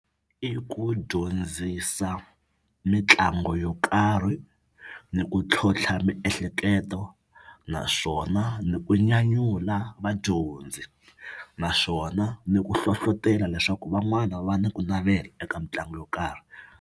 I ku dyondzisa mitlangu yo karhi ni ku tlhontlha miehleketo naswona ni ku nyanyula vadyondzi naswona ni ku hlohlotelo leswaku van'wana va ni ku navela eka mitlangu yo karhi.